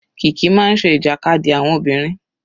Kiki máa ń ṣe ìjàkadì àwọn obìnrin.